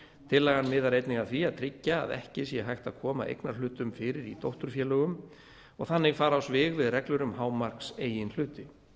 tillagan miðar einnig að því að tryggja að ekki sé hægt að koma eignarhlutum fyrir í dótturfélögum og þannig fara á svig við reglur um hámarks eigin hluti